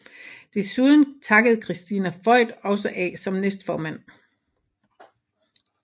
Desuden takkede Christina Voigt også af som næstformand